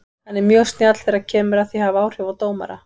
Hann er mjög snjall þegar kemur að því að hafa áhrif á dómara.